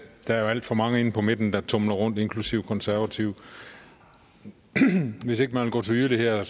der jo er alt for mange inde på midten der tumler rundt inklusive konservative hvis ikke man vil gå til yderligheder er